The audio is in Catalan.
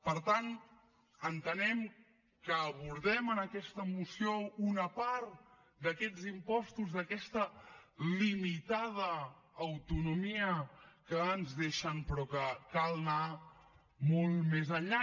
per tant entenem que abordem en aquesta moció una part d’aquests impostos d’aquesta limitada autonomia que ens deixen però que cal anar molt més enllà